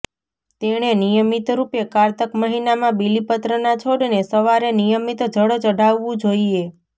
તેણે નિયમિત રૂપે કારતક મહિનામાં બીલીપત્રના છોડને સવારે નિયમિત જળ ચડાવવું જોઈએ